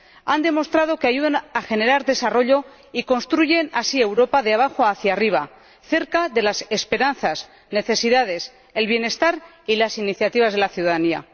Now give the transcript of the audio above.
Han demostrado que ayudan a generar desarrollo y construyen así Europa de abajo hacia arriba, cerca de las esperanzas, las necesidades, el bienestar y las iniciativas de la ciudadanía.